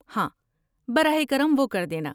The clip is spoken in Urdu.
ہاں، براہ کرم وہ کر دینا۔